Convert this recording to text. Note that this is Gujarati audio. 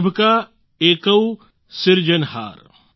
સભ કા એકૌ સિરજનહાર